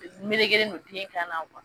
Melekelen don ten kan na